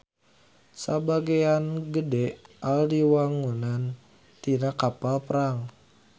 Sabagean gede AL diwangun tina kapal perang.